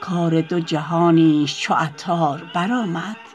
کار دو جهانیش چو عطار برآمد